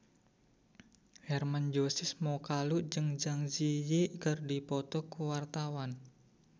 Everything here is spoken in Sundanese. Hermann Josis Mokalu jeung Zang Zi Yi keur dipoto ku wartawan